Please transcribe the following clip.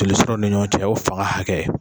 Joli sira ni ɲɔgɔn cɛ, o fanga hakɛ.